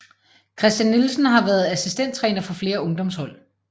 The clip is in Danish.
Christian Nielsen har været assistenttræner for flere ungdomshold